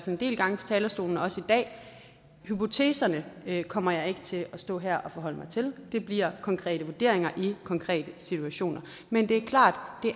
en del gange fra talerstolen også i dag hypoteserne kommer jeg ikke til at stå her og forholde mig til det bliver konkrete vurderinger i konkrete situationer men det er klart